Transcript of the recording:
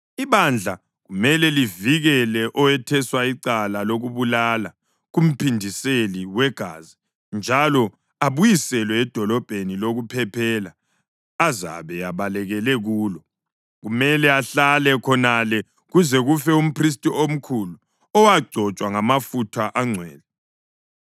Ibandla kumele livikele owetheswa icala lokubulala kumphindiseli wegazi njalo abuyiselwe edolobheni lokuphephela azabe ebalekele kulo. Kumele ahlale khonale kuze kufe umphristi omkhulu, owagcotshwa ngamafutha angcwele.